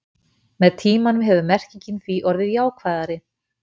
með tímanum hefur merkingin því orðið jákvæðari